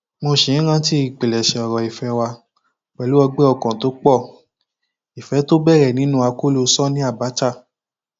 mo sì ń rántí ìpilẹṣẹ ọrọ ìfẹ wa pẹlú ọgbẹ ọkàn tó pọ ìfẹ tó bẹrẹ nínú akóló sànnì abcha